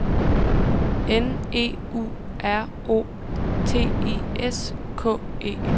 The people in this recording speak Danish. N E U R O T I S K E